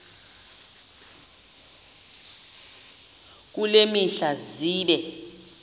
kule mihla zibe